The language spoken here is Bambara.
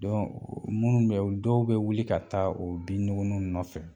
Dɔn o munnu bɛ yan ol dɔw bɛ wuli ka taa o bin nuguninw nɔfɛ.